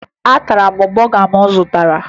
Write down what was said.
Atara m bọga m zụtara